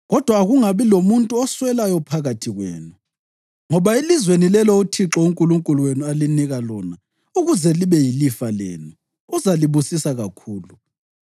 Kodwa akungabi lomuntu oswelayo phakathi kwenu, ngoba elizweni lelo uThixo uNkulunkulu wenu alinika lona ukuze libe yilifa lenu, uzalibusisa kakhulu,